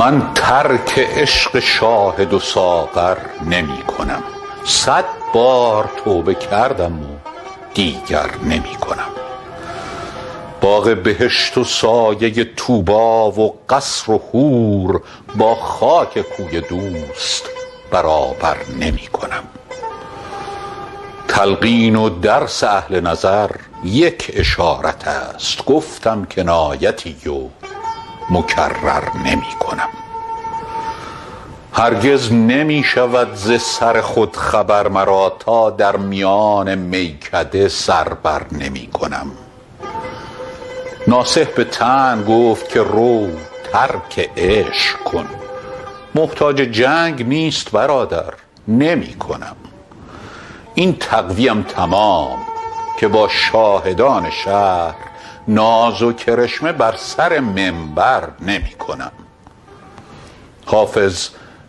من ترک عشق شاهد و ساغر نمی کنم صد بار توبه کردم و دیگر نمی کنم باغ بهشت و سایه طوبی و قصر و حور با خاک کوی دوست برابر نمی کنم تلقین و درس اهل نظر یک اشارت است گفتم کنایتی و مکرر نمی کنم هرگز نمی شود ز سر خود خبر مرا تا در میان میکده سر بر نمی کنم ناصح به طعن گفت که رو ترک عشق کن محتاج جنگ نیست برادر نمی کنم این تقوی ام تمام که با شاهدان شهر ناز و کرشمه بر سر منبر نمی کنم حافظ